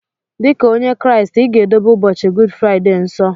Dika onye kraist iga edobe ụbọchi gud friday nsọ!!